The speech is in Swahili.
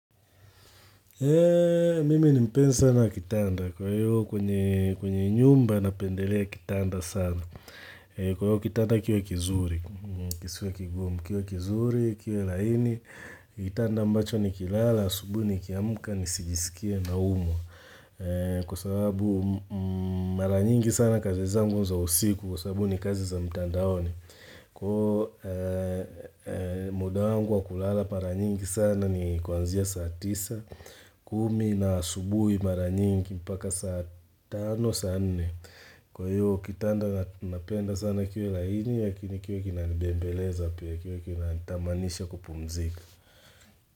Mimi ni mpenzi na kitanda kwa hiyo kwenye nyumba napendelea kitanda sana. Kwa hiyo kitanda kiwe kizuri. Kiwe kizuri, kiwe laini. Kitanda ambacho nikilala. Asubuhi nikiamuka nisijisikie naumwa. Kwa sababu maranyingi sana kazi zangu za usiku Kwa sababu ni kazi za mtandaoni Kwa muda wangu wa kulala mara nyingi sana ni kuanzia saa tisa, kumi na asubuhi mara nyingi mpaka saa tano, saa nne. Kwa hiyo kitanda napenda sana kiwe laini lakini kiwe kinanibembeleza pia kiwe kinanitamanisha kupumzika.